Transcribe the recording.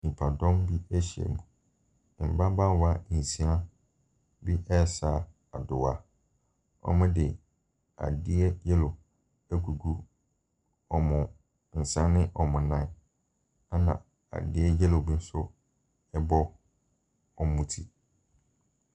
Nnipadɔm bi ahyiam. Mmabaawa nsia bi resa adoa. Wɔde adeɛ yellow agugu wɔn nsa ne wɔn nan, ɛnna adeɛ yellow bi nso bɔ wɔn ti.